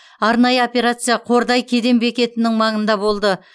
арнайы операция қордай кеден бекетінің маңында болды